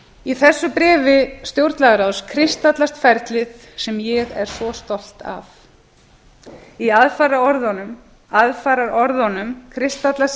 í þessu bréfi stjórnlagaráðs kristallast ferlið sem ég er svo stolt af í aðfaraorðunum kristallast